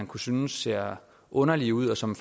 kunne synes ser underlige ud og som